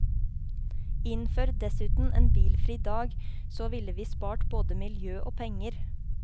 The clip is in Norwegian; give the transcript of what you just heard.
Innfør dessuten en bilfri dag, så ville vi spart både miljø og penger.